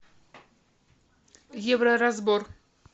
евроразбор